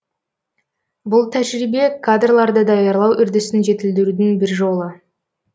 бұл тәжірибе кадрларды даярлау үрдісін жетілдірудің бір жолы